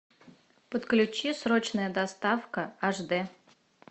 подключи срочная доставка аш дэ